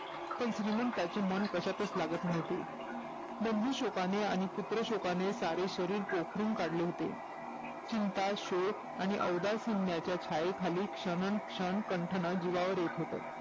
श्रीमंतांची मन कशातच लागत नव्हती लिंबू शोकाने व पुत्र शोकाने सारेशरीर पोखरून काढले होते चिंता शोक अवदासीनताच्या छायेखाली क्षण आणि क्षण कटणं जिवावर येत होत